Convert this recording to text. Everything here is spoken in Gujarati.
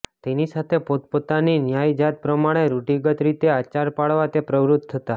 તેની સાથે પોતપોતાની ન્યાતજાત પ્રમાણે રૂઢિગત રીતે આચાર પાળવા તે પ્રવૃત્ત થતાં